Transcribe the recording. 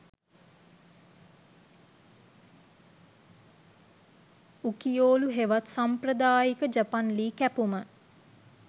උකියොඑ හෙවත් සම්ප්‍රදායික ජපන් ලී කැපුම